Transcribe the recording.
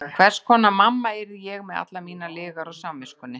En hvers konar mamma yrði ég með allar mínar lygar á samviskunni?